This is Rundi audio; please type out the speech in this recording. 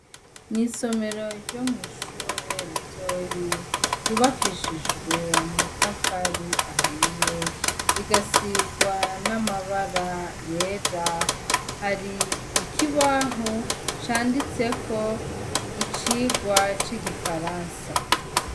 Mw'isomero ryo mw'ishure ritoyi ryubakishijwe amatafari ahiye rigasigwa n'amabara yera hari ikibaho canditseko icigwa c'igifaransa.